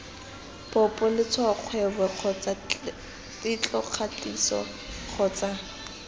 popo letshwaokgwebo kgotsa tetlokgatiso kgotsa